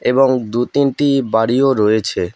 এবং দু তিনটি বাড়িও রয়েছে।